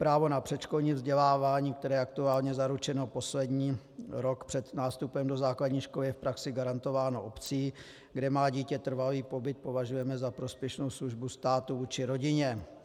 Právo na předškolní vzdělávání, které je aktuálně zaručeno poslední rok před nástupem do základní školy, je v praxi garantováno obcí, kde má dítě trvalý pobyt, považujeme za prospěšnou službu státu vůči rodině.